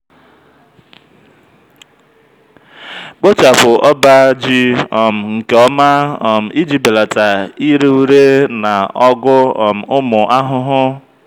kpochapụ ọba ji um nke ọma um iji belata ire ere na ọgụ um ụmụ ahụhụ.